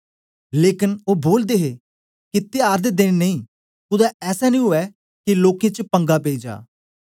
लेकन ओ बोलदे हे के त्यार दे देन नेई कुदै ऐसा नी ऊऐ के लोकें च पंगा पेई जा